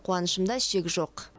қуанышымда шек жоқ